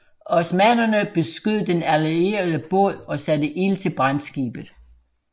Osmannerne beskød den allierede båd og satte ild til brandskibet